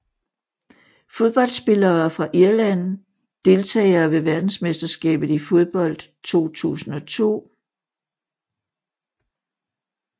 Fodboldspillere fra Irland Deltagere ved verdensmesterskabet i fodbold 2002